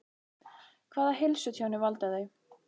Hvaða heilsutjóni valda þau?